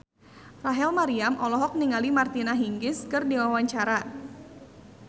Rachel Maryam olohok ningali Martina Hingis keur diwawancara